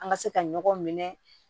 An ka se ka ɲɔgɔn minɛ